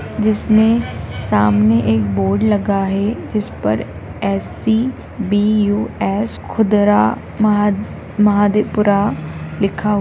जिसमें सामने एक बोर्ड लगा है जिस पर एस.सी. बी.यू.एस. खुदरा महद महादीपुर लिखा --